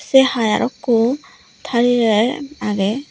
se hai arokko tari rer agey.